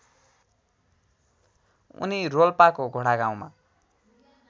उनी रोल्पाको घोडागाउँमा